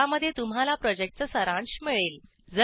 ज्यामध्ये तुम्हाला प्रॉजेक्टचा सारांश मिळेल